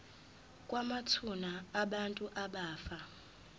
kwamathuna abantu abafa